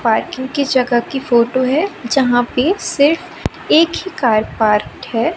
Parking की जगह की फोटो है। जहां पे सिर्फ एक ही कार पार्क है।